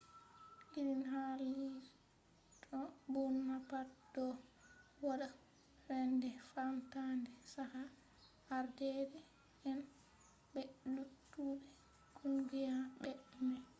irin hali'do burna pat do wadda soinde famtande chaka ardeede'en be luttube kungiya mai